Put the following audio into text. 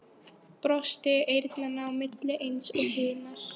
Brosti eyrnanna á milli eins og hinar.